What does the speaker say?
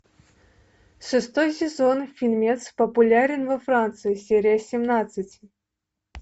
шестой сезон фильмец популярен во франции серия семнадцать